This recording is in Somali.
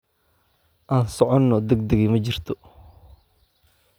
Aan socno, degdegi ma jirto